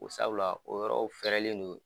Ko sabula o yɔrɔw fɛrɛlen don .